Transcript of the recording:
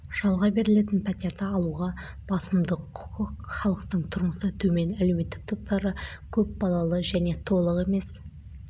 жалға берілетін пәтерді алуға басымдық құқық халықтың тұрмысы төмен әлеуметтік топтары көп балалы және толық емес